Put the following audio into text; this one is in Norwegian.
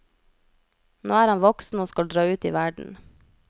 Nå er han voksen og skal dra ut i verden.